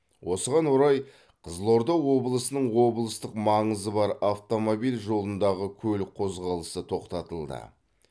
осыған орай қызылорда облысының облыстық маңызы бар автомобиль жолындағы көлік қозғалысы тоқтатылды